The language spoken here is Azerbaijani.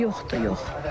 Yoxdur, yox.